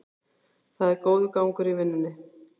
Það er góður gangur í vinnunni